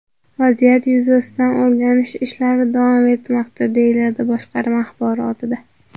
Vaziyat yuzasidan o‘rganish ishlari davom etmoqda, deyiladi boshqarma axborotida.